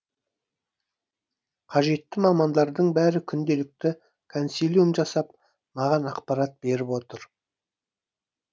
қажетті мамандардың бәрі күнделікті консилиум жасап маған ақпарат беріп отыр